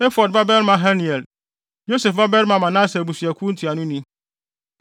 Efod babarima Haniel, Yosef babarima Manase abusuakuw ntuanoni;